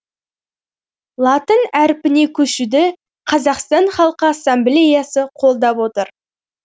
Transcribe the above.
латын әрпіне көшуді қазақстан халқы ассамблеясы қолдап отыр